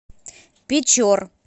печор